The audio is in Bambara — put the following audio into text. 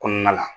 Kɔnɔna la